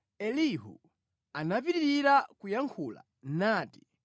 Ndipo Elihu anapitirira kuyankhula nati: